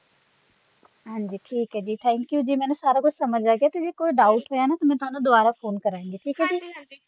ਹਾਂਜੀ ਠੀਕ ਹੈ ਜੀ thank you ਜੀ ਮੈਨੂੰ ਸਾਰਾ ਕੁਜ ਸਮਝ ਆਗਿਆ ਤੇ ਜੇ ਕੋਈ doubt ਹੋਇਆ ਨਾ ਤਾ ਮ ਤੁਹਾਨੂੰ ਦੁਬਾਰਾ phone ਕਰਾਂਗੀ ਠੀਕ ਅ ਜੀ ਹਾਂਜੀ ਹਾਂਜੀ ।